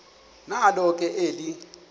nalo ke eli